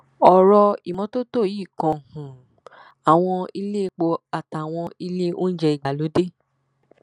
ọrọ ìmọtótó yìí kan um àwọn iléepo àtàwọn ilé oúnjẹ ìgbàlódé